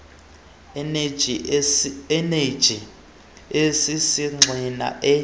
eneji esisigxina e